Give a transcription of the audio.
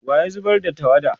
wa ya zubar da tawada?